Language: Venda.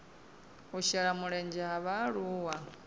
u shela mulenzhe ha vhaaluwa